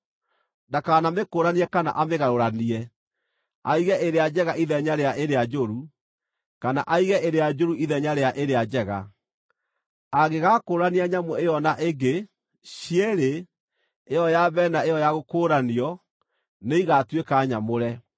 Ndakanamĩkũũranie kana amĩgarũranie, aige ĩrĩa njega ithenya rĩa ĩrĩa njũru, kana aige ĩrĩa njũru ithenya rĩa ĩrĩa njega; angĩgakũũrania nyamũ ĩyo na ĩngĩ, cierĩ ĩyo ya mbere na ĩyo ya gũkũũranio nĩigatuĩka nyamũre.